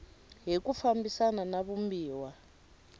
hi ku fambisana na vumbiwa